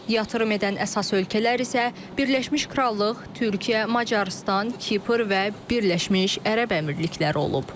Yatırım edən əsas ölkələr isə Birləşmiş Krallıq, Türkiyə, Macarıstan, Kipr və Birləşmiş Ərəb Əmirlikləri olub.